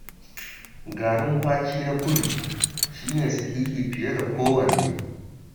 Garin kwaki na kudu shi ne sahihi fiye da kowanne